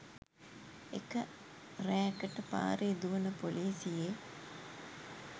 එක රෑකට පාරේ දුවන පොලිසියේ